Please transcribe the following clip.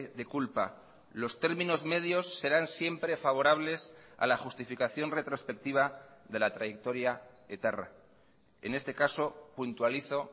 de culpa los términos medios serán siempre favorables a la justificación retrospectiva de la trayectoria etarra en este caso puntualizo